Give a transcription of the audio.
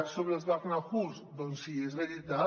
sobre els barnahus doncs sí és veritat